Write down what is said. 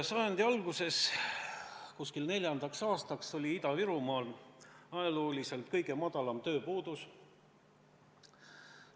Sajandi alguses, 2004. aasta paiku oli Ida-Virumaal ajalooliselt kõige väiksem tööpuudus.